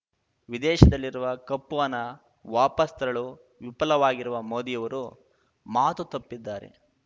ವಿದೇಶದಲ್ಲಿರುವ ಕಪ್ಪುಹಣ ವಾಪಸ್ ತರಲು ವಿಫಲವಾಗಿರುವ ಮೋದಿಯವರು ಮಾತು ತಪ್ಪಿದ್ದಾರೆ